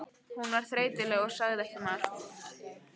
Hún var þreytuleg og sagði ekki margt.